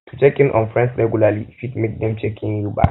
to check in on friends regularly fit make dem check in you back